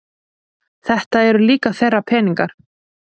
Þetta eru líka þeirra peningar